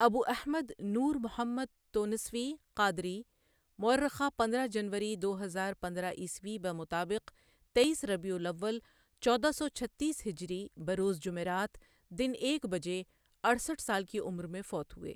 ابو احمد نور محمد تونسوی قادری موٴرخہ پندرہ جنوری دو ہزار پندرہ عیسوی بمطابق تئیس ربیع الاول چودہ سو چھتیس ہجری بروز جمعرات دِن ایک بجے، اڑسٹھ سال کی عمر میں فوت ہوئے ۔